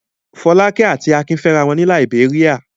Fọ́lákẹ́ àti Akin fẹ́ra wọn ní Làíbéríà.